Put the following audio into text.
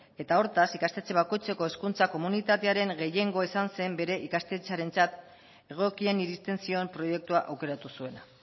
eta hortaz ikastetxe bakoitzeko hezkuntza komunitatearen gehiengoa izan zen bere ikastetxearentzat egokien iristen zion proiektua aukeratu zuena